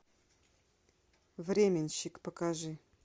временщик покажи